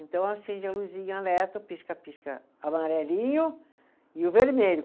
Então, acende a luzinha, alerta, pisca, pisca, amarelinho e o vermelho.